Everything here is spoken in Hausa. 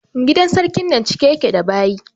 Gidan sarkin nan cike ya ke da baƴi